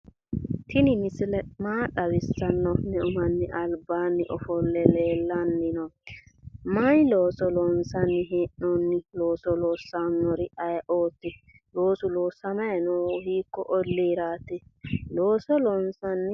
Tini misile maa xawissanno? Meu manni albaanni ofolle leellanni noonke? Mayi looso loonsanni hee'noonni? Looso loossannori ayeeooti? Loosu loosamanni noohu hiikko olliiraati?